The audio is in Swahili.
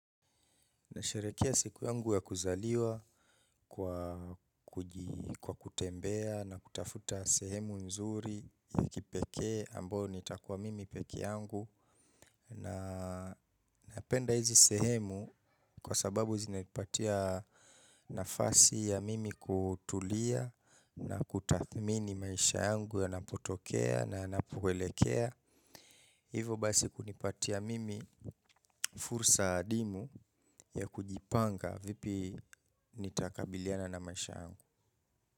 Nasherehekea siku yangu ya kuzaliwa kwa kwa kutembea na kutafuta sehemu nzuri ya kipekee ambayo nitakuwa mimi peke yangu. Na napenda hizi sehemu kwa sababu zinanipatia nafasi ya mimi kutulia na kutathmini maisha yangu yanapotokea na yanapoelekea. Hivo basi kunipatia mimi fursa adimu ya kujipanga vipi nitakabiliana na maisha yangu.